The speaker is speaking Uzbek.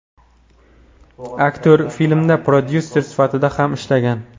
Aktyor filmda prodyuser sifatida ham ishlagan.